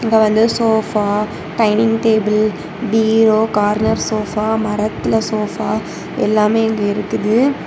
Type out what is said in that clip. அங்க வந்து sofa dining table பீரோ கார்னர் சோபா மரத்துல சோபா எல்லாமே இங்க இருக்குது.